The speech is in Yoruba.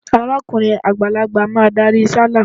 Arákùrin àgbàlagbà máa darí sálà.